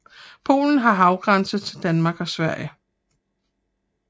Polen har havgrænse til Danmark og Sverige